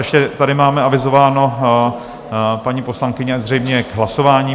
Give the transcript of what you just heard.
Ještě tady máme avizováno - paní poslankyně zřejmě k hlasování.